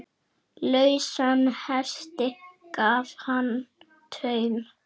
Lausan hesti gaf hann taum.